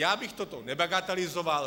Já bych toto nebagatelizoval.